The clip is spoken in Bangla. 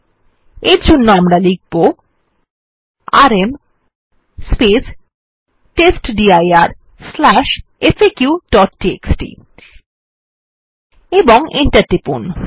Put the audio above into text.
আমরা এর জন্য লিখব আরএম টেস্টডির faqটিএক্সটি ও এন্টার টিপুন